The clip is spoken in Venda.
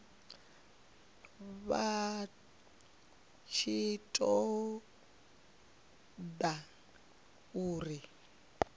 vha tshi ṱo ḓa uri